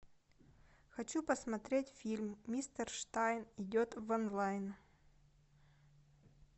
хочу посмотреть фильм мистер штайн идет в онлайн